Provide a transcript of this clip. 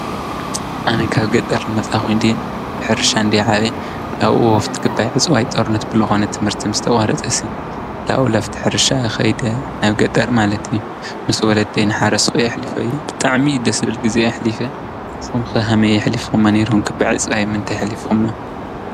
ኣነ ካብ ገጠር ልመጻኹ ድ ድኅርሻ ን ዲዓበ ኣብኡ ወፍት ክባይዕጽዋይ ጠርነት ብልኾነት ትምህርቲ ምስ ተዋረጸሢ ላኡ ላፍትኅርሻ ኸይደ ናብ ገጠር ማለቲ ምስ ወለት ይንሓረስኮይ ኣኅሊፈይኽጥዕሚ ደስብል ጊዜ ኣኅሊፈ ሶምክ ሃመይ ኣኅሊፍ ኹም ነይርሁን ክባዕጽ ይምንተ ይኅሊፍኹም?